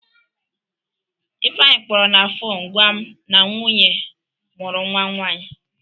Ifeanyị kpọrọ na fonu gwa m na nwunye mụrụ nwa nwaanyị.